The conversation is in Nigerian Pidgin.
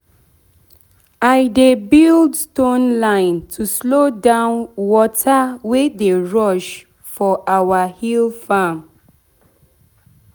i dey build stone line to slow down water wey dey rush for our hill farm.